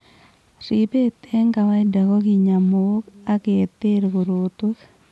Ribeet eng' kawaida kokinya mook ak keter korotwek